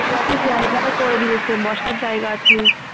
বসার জায়গা আছে